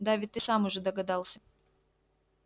да ведь ты сам уже догадался